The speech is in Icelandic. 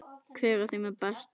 Hver af þeim er bestur?